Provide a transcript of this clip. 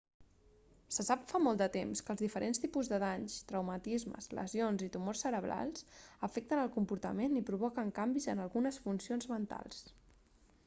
se sap fa molt de temps que els diferents tipus de danys traumatismes lesions i tumors cerebrals afecten el comportament i provoquen canvis en algunes funcions mentals